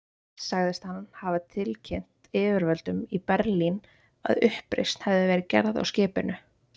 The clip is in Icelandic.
Sagðist hann hafa tilkynnt yfirvöldum í Berlín, að uppreisn hefði verið gerð á skipinu.